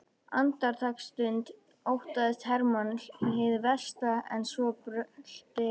Andartaksstund óttaðist Hermann hið versta en svo brölti